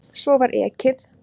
Svo var ekið.